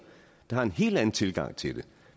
der har en helt anden tilgang til det